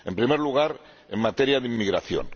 En primer lugar, en materia de inmigración.